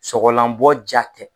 Sɔgɔlanbɔ ja tɛ